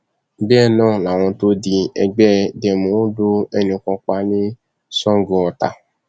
bẹẹ náà làwọn tóòdì ẹgbẹ demo lu ẹnì kan pa ní sangoọta